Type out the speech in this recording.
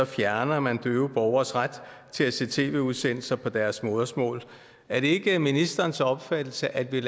fjerner man døve borgeres ret til at se tv udsendelser på deres modersmål er det ikke ministerens opfattelse at vi